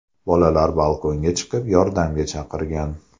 Bolalar balkonga chiqib yordamga chaqirgan.